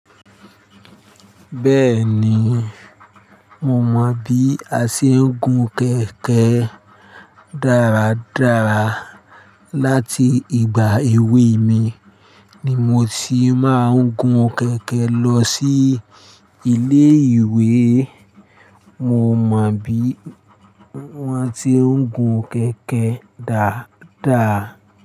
Bẹ́ẹ̀ni, mo mọ bí a ṣe ń gun kẹ̀kẹ́ dáradáa Láti ìgbà èwe mi ni mo ti máa ń gun kẹ̀kẹ́ lọ sí ilé ìwé. Mo mọ bí wọ́n ti ń gun kẹ̀kẹ́ dáadáa.